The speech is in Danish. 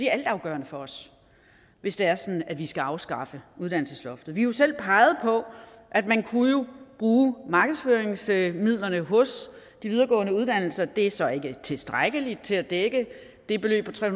er altafgørende for os hvis det er sådan at vi skal afskaffe uddannelsesloftet vi har jo selv peget på at man kunne bruge markedsføringsmidlerne hos de videregående uddannelser det er så ikke tilstrækkeligt til at dække det beløb på tre